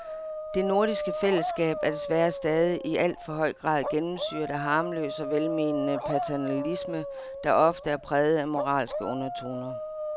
Det nordiske fællesskab er desværre stadig i alt for høj grad gennemsyret af harmløs og velmenende paternalisme, der ofte er præget af moralske undertoner.